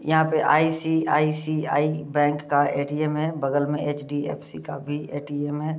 यहाँ पे ICICI bank का ए.टी.एम. है बगल में एच.डी.एफ.सी. का भी ए.टी.एम. है।